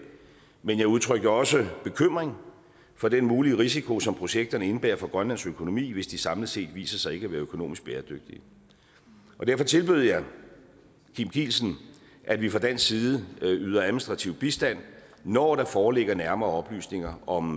men jeg udtrykte også bekymring for den mulige risiko som projekterne indebærer for grønlands økonomi hvis de samlet set viser sig ikke at være økonomisk bæredygtige derfor tilbød jeg kim kielsen at vi fra dansk side yder administrativ bistand når der foreligger nærmere oplysninger om